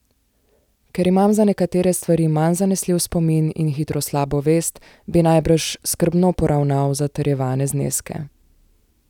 Ker imam za nekatere stvari manj zanesljiv spomin in hitro slabo vest, bi najbrž skrbno poravnaval zatrjevane zneske.